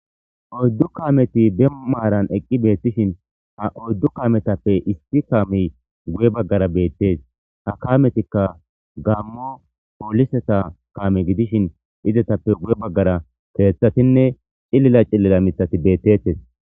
Oydu kaameti be maaran eqqi beetishin,ha oydu kaametape issi kaamey guye baggara beetees. Ha kaametika Gamo pooliseta kaame gidishin,izetappe guye baggara keethatine cilila miththati beetetees.